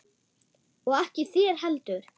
Og ekki þér heldur!